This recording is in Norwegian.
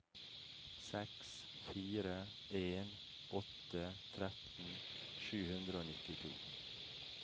seks fire en åtte tretten sju hundre og nittito